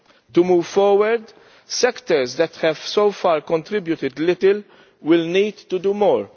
To move forward, sectors that have so far contributed little will need to do more.